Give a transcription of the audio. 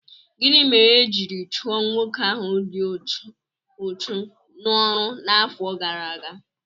Gịnị mere e jiri chụọ nwoke ahụ dị úchú n'ọrụ n'afọ gara aga?